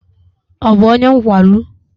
Ọ bụ onye nkwarụ?